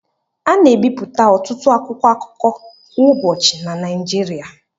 A na-ebipụta ọtụtụ akwụkwọ akụkọ kwa ụbọchị na Naịjirịa